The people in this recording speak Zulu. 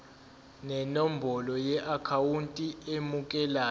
nenombolo yeakhawunti emukelayo